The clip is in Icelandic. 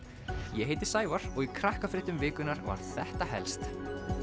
ég heiti Sævar og í Krakkafréttum vikunnar var þetta helst